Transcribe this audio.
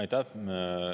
Aitäh!